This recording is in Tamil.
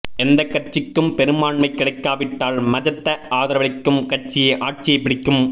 எந்த கட்சிக்கும் பெரும்பான்மை கிடைக்காவிட்டால் மஜத ஆதரவளிக்கும் கட்சியே ஆட்சியை பிடிக்கும்